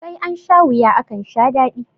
Sai ansha wuya akansha daɗi.